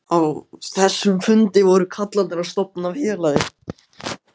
þessum fundi voru kallarnir að stofna félagið.